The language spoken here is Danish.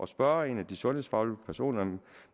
spørge en af de sundhedsfaglige personer